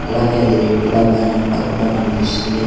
అలాగే అది red colour banner లా కూడా కనిపిస్తుంది.